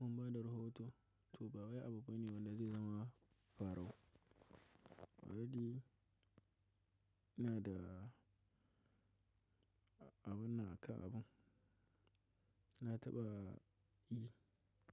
mun bada rohoto to ba waye abubuwa ne wanda zai zama farau. Already ina da abun naka abun. Na taɓa yi.